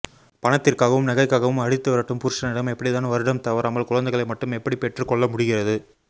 பணத்திற்காவும் நகைக்காவும் அடித்து விரட்டும் புருஷனிடம் எப்படி தான் வருடம் தவறாமல் குழந்தைகளை மட்டும் எப்படி பெற்றுக்கொள்ள முடிகிறது